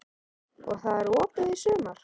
Og það er opið í sumar?